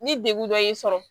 Ni degun dɔ y'i sɔrɔ